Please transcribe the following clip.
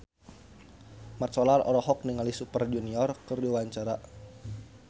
Mat Solar olohok ningali Super Junior keur diwawancara